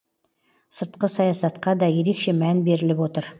сыртқы саясатқа да ерекше мән беріліп отыр